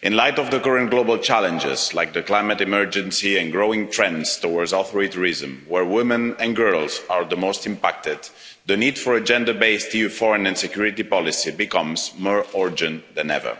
In light of the current global challenges, like the climate emergency and growing trends towards authoritarianism, where women and girls are the most impacted, the need for a gender based EU foreign and security policy becomes more urgent than ever.